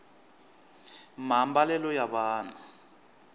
maambalelo ya vanhu